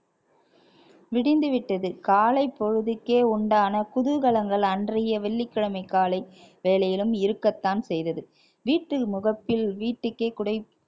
விடிந்துவிட்டது காலைப்பொழுதுக்கே உண்டான குதூகலங்கள் அன்றைய வெள்ளிக்கிழமை காலை வேலையிலும் இருக்கத்தான் செய்தது வீட்டில் முகப்பில் வீட்டுக்கே குடை~